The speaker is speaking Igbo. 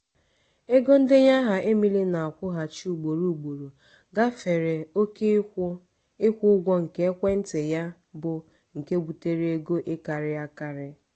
ego ndenye aha emily na-akwụghachi ugboro ugboro gafere oke ịkwụ ịkwụ ụgwọ nke ekwentị ya bụ nke butere ego ịkarị akarị.